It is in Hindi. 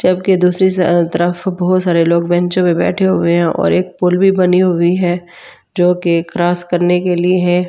जब कि दूसरी स तरह बहुत सारे लोग बेंचो पे बैठे हुए हैं और एक पुल भी बनी हुई है जो की क्रॉस करने के लिए है।